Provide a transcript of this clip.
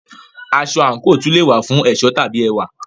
Aṣọ/àǹkò tún le è wà fún ẹ̀ṣọ́ tàbí ẹwà.